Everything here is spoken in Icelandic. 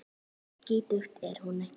Svo skítug er hún ekki.